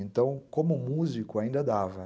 Então, como músico, ainda dava.